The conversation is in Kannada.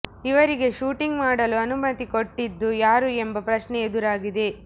ಇವರಿಗೆ ಶೂಟಿಂಗ್ ಮಾಡಲು ಅನುಮತಿ ಕೊಟ್ಟಿದ್ದು ಯಾರು ಎಂಬ ಪ್ರಶ್ನೆ ಎದುರಾಗಿದೆ